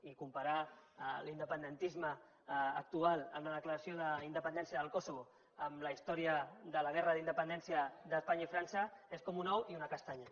i comparar l’independentisme actual amb la declaració d’independència del kosovo amb la història de la guerra de la independència d’espanya i frança és com un ou i una castanya